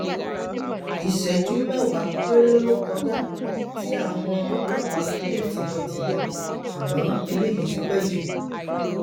isẹjú mẹwàá péré lo kọjá ti àwọn ọlọpàá fi dé tìbọntìbọn ṣùgbọn eléyìí ti pẹ jù